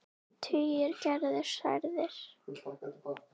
Tugir eru særðir.